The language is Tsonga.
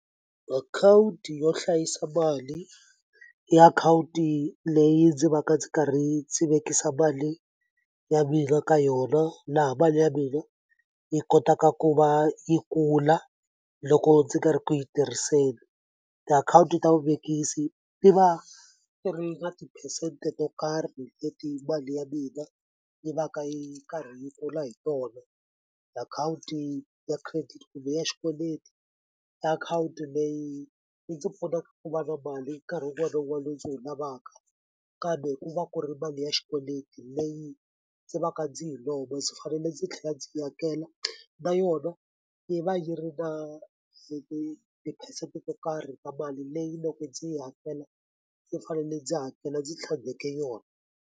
Akhawunti yo hlayisa mali i akhawunti leyi ndzi va ka ndzi karhi ndzi vekisa mali ya mina ka yona laha ya mina yi kotaka ku va yi kula loko ndzi nga ri ku yi tirhiseni tiakhawunti ta vuvekisi ti va ti ri na tiphesente to karhi leti mali ya mina yi va ka yi karhi yi kula hi tona akhawunti ya credit le ya xikweleti i akhawunti leyi yi ndzi pfuna ku va na mali nkarhi wun'wana wun'wani lowu ndzi wu lavaka kambe ku va ku ri mali ya xikweleti leyi ndzi va ka ndzi yi lomba ndzi fanele ndzi tlhela ndzi yi hakela na yona yi va yi ri na tiphesente to karhi ka mali leyi loko ndzi yi hakela ndzi fanele ndzi hakela ndzi tlhandleke yona.